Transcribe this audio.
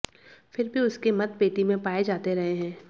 फिर भी उसके मत पेटी में पाए जाते रहे हैं